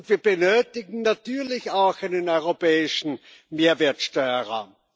Wir benötigen natürlich auch einen europäischen Mehrwertsteuerraum.